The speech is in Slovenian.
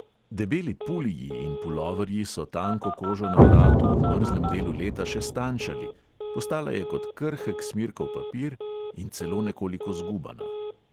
Debeli puliji in puloverji so tanko kožo na vratu v mrzlem delu leta še stanjšali, postala je kot krhek smirkov papir in celo nekoliko zgubana.